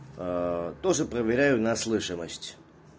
а тоже проверяю на слышимость